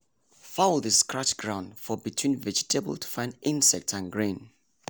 fowl dey scratch ground for between vegetable to find insect and grain.